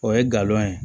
O ye galon ye